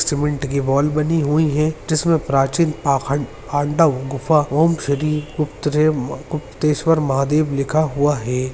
Cement की wall बनी हुई हैंजिसमे प्राचीन पाखंड पांडव गुफा ओम श्री गुप्तदेव गुप्तेश्वर महादेव लिखा हुआ है।